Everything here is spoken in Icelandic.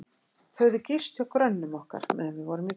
Þau höfðu gist hjá grönnum okkar, meðan við vorum í burtu.